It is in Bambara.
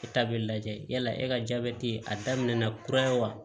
E ta bɛ lajɛ yala e ka jabɛti a daminɛna kura ye wa